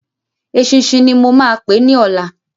Eṣinṣin ni mo máa pè é ní ọ̀la.